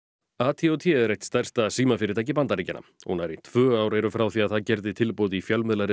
ATT er eitt stærsta símafyrirtæki Bandaríkjanna og nærri tvö ár eru frá því að það gerði tilboð í